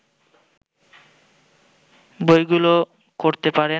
বইগুলো করতে পারেন